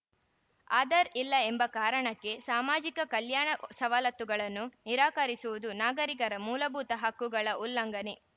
ಆಧಾರ್‌ ಇಲ್ಲ ಎಂಬ ಕಾರಣಕ್ಕೆ ಸಾಮಾಜಿಕ ಕಲ್ಯಾಣ ಸವಲತ್ತುಗಳನ್ನು ನಿರಾಕರಿಸುವುದು ನಾಗರಿಕರ ಮೂಲಭೂತ ಹಕ್ಕುಗಳ ಉಲ್ಲಂಘನೆ